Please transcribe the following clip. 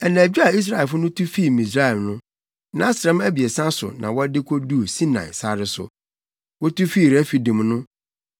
Anadwo a Israelfo no tu fii Misraim no, nʼasram abiɛsa so na wɔde koduu Sinai sare so.